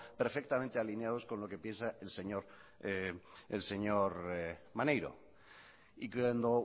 alineados con lo que piensa el señor maneiro y cuando